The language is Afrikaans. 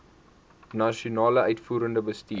nasionale uitvoerende bestuur